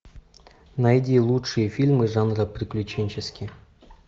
найди лучшие фильмы жанра приключенческий